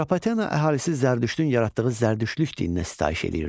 Atropatena əhalisi Zərdüştün yaratdığı Zərdüştlük dininə sitayiş eləyirdi.